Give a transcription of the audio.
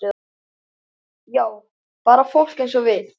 Já, bara fólk eins og við.